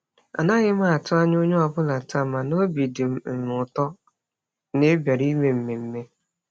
Anaghị m atụ anya onye ọbụla taa, mana obi dị m m ụtọ na ị bịara ime mmemme.